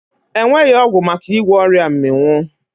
E nweghị ọgwụ maka ịgwọ ọrịa mmịnwụ.